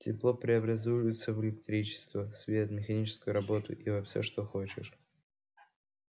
тепло преобразуется в электричество свет механическую работу и во все что хочешь